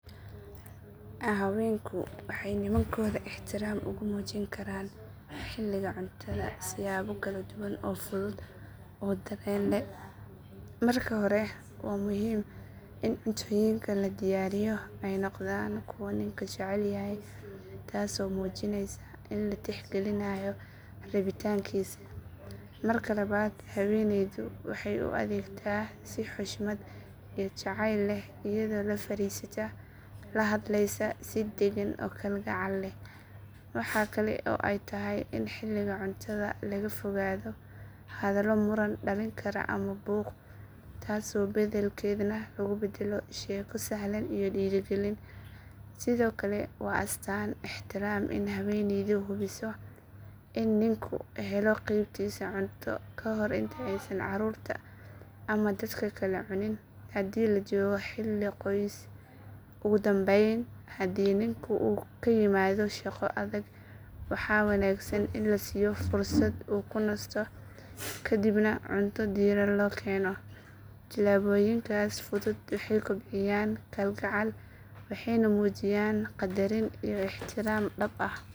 Haweenku waxay nimankooda ixtiraam ugu muujin karaan xiliga cuntada siyaabo kala duwan oo fudud oo dareen leh. Marka hore waa muhiim in cuntooyinka la diyaariyo ay noqdaan kuwa ninku jecel yahay taasoo muujinaysa in la tixgelinayo rabitaankiisa. Marka labaad haweeneydu waxay u adeegtaa si xushmad iyo jacayl leh iyadoo la fariisata, la hadlaysa si dagan oo kalgacal leh. Waxa kale oo ay tahay in xiliga cuntada laga fogaado hadallo muran dhalin kara ama buuq, taas beddelkeedna lagu beddelo sheeko sahlan iyo dhiirigelin. Sidoo kale waa astaan ixtiraam in haweeneydu hubiso in ninku helo qeybtiisa cunto ka hor inta aysan carruurta ama dad kale cunin haddii la joogo xilli qoys. Ugu dambayn, haddii ninku uu ka yimaado shaqo adag waa wanaagsan in la siiyo fursad uu ku nasto kadibna cunto diiran loo keeno. Tallaabooyinkaas fudud waxay kobciyaan kalgacal waxayna muujiyaan qadarin iyo ixtiraam dhab ah.